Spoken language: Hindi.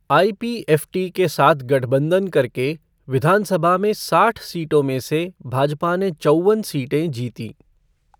आई पी एफ़ टी के साथ गठबंधन करके विधानसभा में साठ सीटों में से भाजपा ने चौवन सीटें जीतीं।